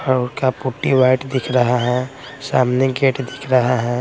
क्या putty white दिख रहा है सामने गेट दिख रहा है।